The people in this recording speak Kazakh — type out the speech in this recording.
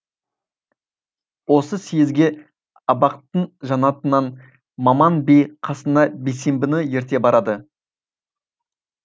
осы сиезге абақтың жанатынан маман би қасына бейсенбіні ерте барады